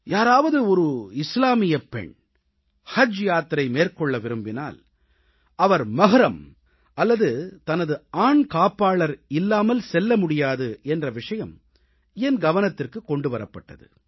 யாராவது ஒரு இஸ்லாமியப் பெண் ஹஜ் யாத்திரை மேற்கொள்ள விரும்பினால் அவர் மஹ்ரம் அல்லது தனது ஆண் காப்பாளர் இல்லாமல் செல்ல முடியாது என்ற விஷயம் என் கவனத்திற்கு கொண்டு வரப்பட்டது